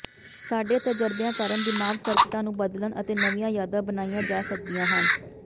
ਸਾਡੇ ਤਜਰਬਿਆਂ ਕਾਰਨ ਦਿਮਾਗ ਸਰਕਟਾਂ ਨੂੰ ਬਦਲਣ ਅਤੇ ਨਵੀਂਆਂ ਯਾਦਾਂ ਬਣਾਈਆਂ ਜਾ ਸਕਦੀਆਂ ਹਨ